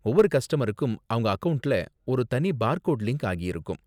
ஒவ்வொரு கஸ்டமருக்கும் அவங்க அக்கவுண்ட்ல ஒரு தனி பார் கோட் லிங்க் ஆகியிருக்கும்.